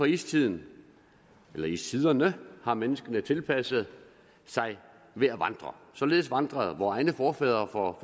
istiden eller istiderne har menneskene tilpasset sig ved at vandre således vandrede vore egne forfædre for